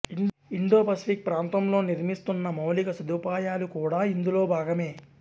Indo-Pacific ప్రాంతంలో నిర్మిస్తున్న మౌలిక సదుపాయాలు కూడా ఇందులో భాగమే